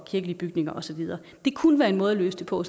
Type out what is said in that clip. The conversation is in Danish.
kirkelige bygninger og så videre det kunne være en måde at løse det på